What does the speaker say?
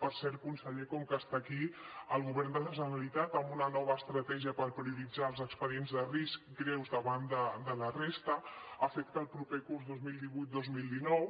per cert conseller com que està aquí el govern de la generalitat amb una nova estratègia per prioritzar els expedients de risc greus davant de la resta ha fet que el proper curs dos mil divuit dos mil dinou